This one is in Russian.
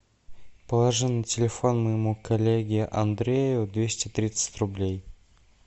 положи на телефон моему коллеге андрею двести тридцать рублей